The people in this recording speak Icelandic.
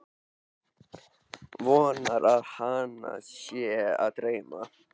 Vonar að hana sé að dreyma.